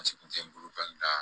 A sigi kun te n bolo la